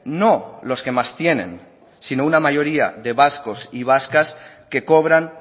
no los que más tienen sino una mayoría de vascos y vascas que cobran